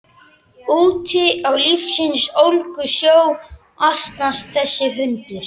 Úti á lífsins ólgusjó asnast þessi hundur.